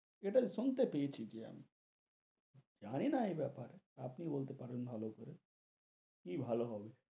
শুনতে পেয়েছি যে আমি, জানি না এই বেপার, এ আপনি বলতে পারেন ভালো করে, কি ভালো হবে?